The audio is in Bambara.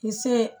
K'i se